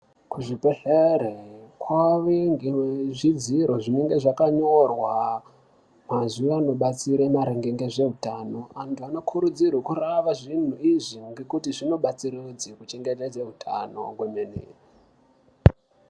Kuzvibhedlere kwaane zvidziro zvinenge zvakanyorwa mazuwa anodetsere maringe nezvehutano .Antu vanokurudzirwa kurava zvinhi izvi nekuti zvinobatsiridze kuchengetedze hutano zvemene.